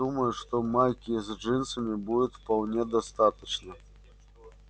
я думаю что майки с джинсами будет вполне достаточно